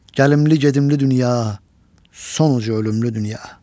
Gəlimli-gedimli dünya, sonu ölümlü dünya.